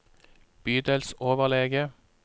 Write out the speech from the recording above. bydelsoverlege